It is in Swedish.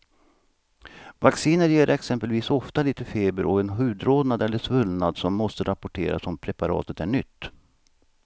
Vacciner ger exempelvis ofta lite feber och en hudrodnad eller svullnad som måste rapporteras om preparatet är nytt.